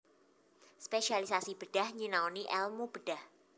Spesialisasi bedhah nyinaoni èlmu bedhah